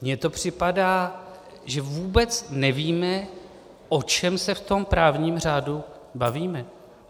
Mně to připadá, že vůbec nevíme, o čem se v tom právním řádu bavíme.